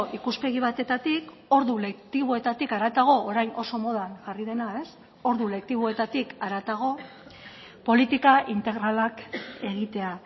ikuspegi batetik ordu lektiboetatik haratago orain oso modan jarri dena ordu lektiboetatik haratago politika integralak egitea